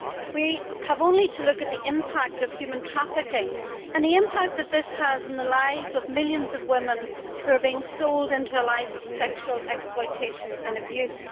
We have only to look at the impact of human trafficking and the impact that this has on the lives of millions of women who are being sold into a life of sexual exploitation and abuse.